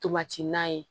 Tobati na ye